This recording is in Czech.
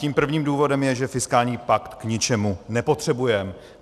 Tím prvním důvodem je, že fiskální pakt k ničemu nepotřebujeme.